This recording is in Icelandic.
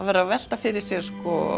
verið að velta fyrir sér